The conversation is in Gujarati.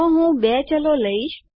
તો હું ૨ ચલો લઈશ